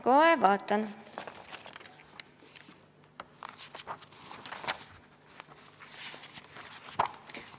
Kohe vaatan.